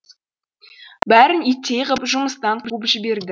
бәрін иттей ғып жұмыстан қуып жіберді